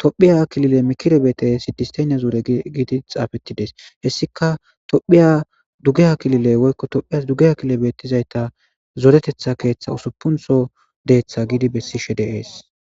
tophiya kilile mikirebeete sidisteyna zoure giidi xaafettides hessika tophiya dugeya kilile woykko tophiyas dugeya kilobettizayta zoretetha keeththa usupuntho deeththa giidi bessishe deees.